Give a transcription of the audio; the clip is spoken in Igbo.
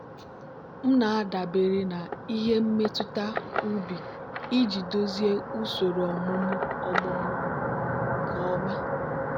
m na-adabere na ihe mmetụta ubi iji duzie usoro ọmụmụ ọmụmụ m nke ọma.